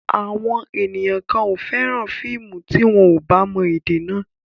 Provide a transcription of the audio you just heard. Àwọn ènìyàn kan ò fẹ́ràn fíìmù tí wọn ò bá mọ èdè náà.